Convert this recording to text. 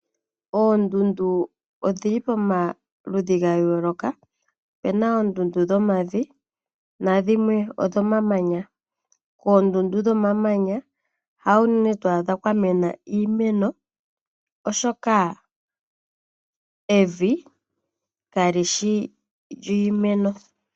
Oondundu odhili pamaludhi gayoolokathana. Opuna oondundu dhomavi, nadhimwe odho mamanya . Koondundu dhomamanya hawu unene twaadha kwamena iimeno oshoka evi kali shi iimeno.